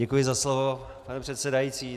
Děkuji za slovo, pane předsedající.